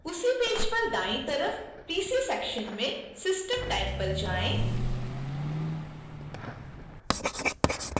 उसी पेज पर दाईं तरफ pc section में system type पर जाएँ